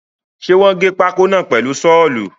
Ṣe wọ́n gé pákó náà pẹ̀lu sọ́ọ̀lù?